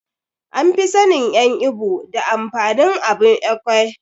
An fi sannin en ibo da amfanin abun Ekwe.